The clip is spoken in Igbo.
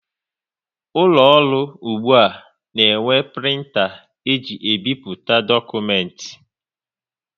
Ụlọ ọrụ ụgbụa na enwe printa e ji ebipụta dokumenti